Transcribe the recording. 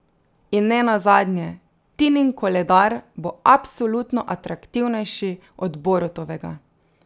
In ne nazadnje, Tinin koledar bo absolutno atraktivnejši od Borutovega.